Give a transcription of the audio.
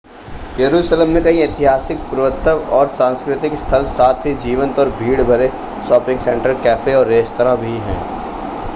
यरुशलम में कई ऐतिहासिक पुरातत्व और सांस्कृतिक स्थल साथ ही जीवंत और भीड़ भरे शॉपिंग सेंटर कैफ़े और रेस्तरां भी हैं